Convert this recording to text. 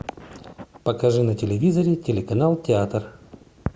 покажи на телевизоре телеканал театр